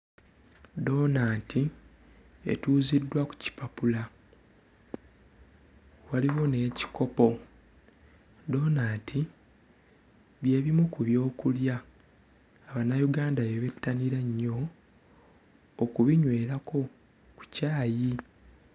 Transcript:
Ddonaanti etuuziddwa ku kipapula. Waliwo n'ekikopo. Ddonaanti bye bimu ku byokulya Abannayuganda bye bettanira ennyo okubinywerako ku caayi.